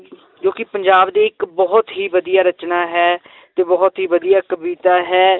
ਜੋ ਕਿ ਪੰਜਾਬ ਦੇ ਇੱਕ ਬਹੁਤ ਹੀ ਵਧੀਆ ਰਚਨਾ ਹੈ ਤੇ ਬਹੁਤ ਹੀ ਵਧੀਆ ਕਵਿਤਾ ਹੈ